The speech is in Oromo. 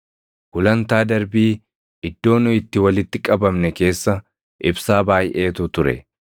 Gulantaa darbii iddoo nu itti walitti qabamne keessa ibsaa baayʼeetu ture.